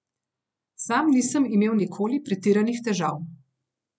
Sam nisem imel nikoli pretiranih težav.